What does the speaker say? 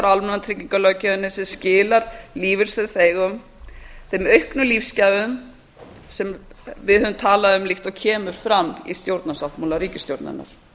almannatryggingalöggjöfinni sem skilar lífeyrissjóðsþegum þeim auknu lífsgæðum sem við höfum talað um líkt og kemur fram í stjórnarsáttmála ríkisstjórnarinnar